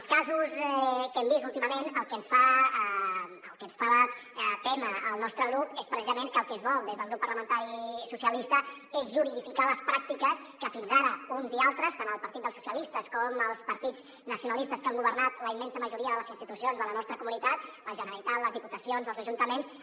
els casos que hem vist últimament el que ens fan témer al nostre grup és precisament que el que es vol des del grup parlamentari socialistes és juridificar les pràctiques que fins ara uns i altres tant el partit socialistes com els partits nacionalistes que han governat la immensa majoria de les institucions de la nostra comunitat la generalitat les diputacions els ajuntaments